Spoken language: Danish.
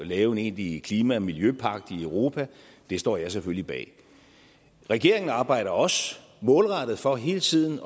lave en egentlig klima og miljøpagt i europa det står jeg selvfølgelig bag regeringen arbejder også målrettet for hele tiden